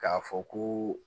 K'a fɔ ko